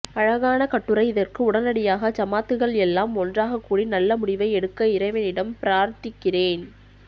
அழகன கட்டுரை இதற்க்கு உடனடியாக ஜமாத்துக்கள் எல்லாம் ஒன்றாக கூடி நல்ல முடிவை எடுக்க இறைவனிடம் பிரார்திக்கேரன்